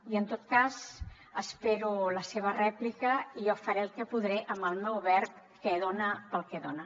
i en tot cas espero la seva rèplica i jo faré el que podré amb el meu verb que dona pel que dona